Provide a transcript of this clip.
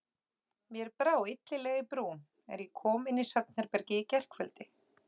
Mér brá illilega í brún, er ég kom inn í svefnherbergið í gærkveldi.